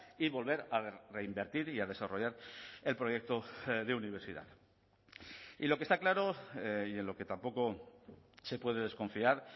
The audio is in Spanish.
y volver a reinvertir y a desarrollar el proyecto de universidad y lo que está claro y en lo que tampoco se puede desconfiar